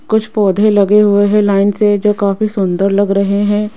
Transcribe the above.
कुछ पौधे लगे हुए हैं लाइन से जो काफी सुंदर लग रहे हैं।